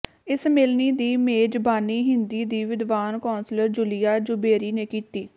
ਇਸ ਮਿਲਣੀ ਦੀ ਮੇਜ਼ਬਾਨੀ ਹਿੰਦੀ ਦੀ ਵਿਦਵਾਨ ਕੌਂਸਲਰ ਜੁਲੀਆ ਜੁਬੈਰੀ ਨੇ ਕੀਤੀ